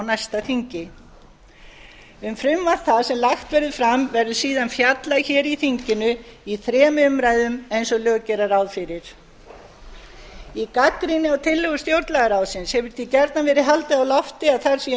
næsta þingi um frumvarp það sem lagt verður fram verður síðan fjallað í þinginu í þremur umræðum eins og lög gera ráð fyrir í gagnrýni á tillögu stjórnlagaráðsins hefur því gjarnan verið haldið á lofti að þar séu